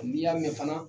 N'i y'a mɛn fana